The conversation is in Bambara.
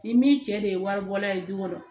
Ni min cɛ de ye wari bɔla ye du kɔnɔ